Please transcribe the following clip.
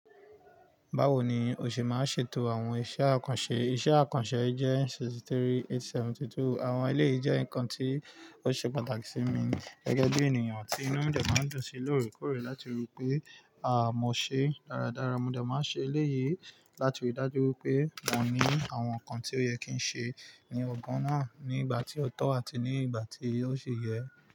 Báwo ni o ṣe máa ṣe ètò àwọn iṣẹ́ àkànṣe? Iṣẹ́ àkànṣe jẹ́ sixty-three eight seventy two. Àwọn eléyìí jẹ́ nǹkan tí ó ṣe pàtàkì sí mi gẹ́gẹ́ bí ènìyàn tí inú mi dẹ máa ń dùn sí lórèkórè láti rí i pé mo ṣe dáradára. Mo de máa ṣe eléyìí láti rí i dájú wí pé mò ní àwọn nǹkan tí ó yẹ kí n ṣe ní ọgbọ́n náà, ní ìgbà tí ó tọ́ àti ní ìgbà tí yóò ṣi yẹ.